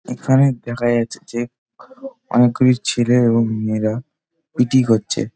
এখানে দেখা যাচ্ছে যে অনেক গুলি ছেলে এবং মেয়েরা পি .টি করছে |